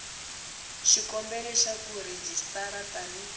xikombelo xa ku rejistara tani